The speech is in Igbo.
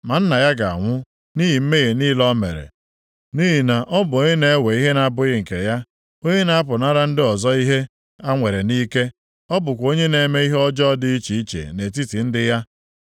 Ma nna ya ga-anwụ nʼihi mmehie niile o mere, nʼihi na ọ bụ onye na-ewe ihe na-abụghị nke ya, onye na-apụnara ndị ọzọ ihe ha nwere nʼike. Ọ bụkwa onye na-eme ihe ọjọọ dị iche iche nʼetiti ndị ya.